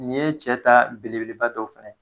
Nin ye cɛ ta belebeleba dɔw fɛnɛ ye.